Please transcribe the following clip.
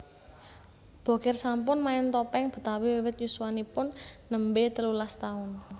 Bokir sampun main topeng Betawi wiwit yuswanipun nembé telulas taun